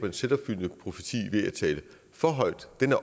en selvopfyldende profeti ved at tale for højt